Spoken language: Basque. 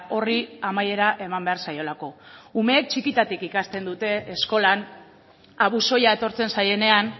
horri amaiera eman behar zaiolako umeek txikitatik ikasten dute eskolan abusoia etortzen zaienean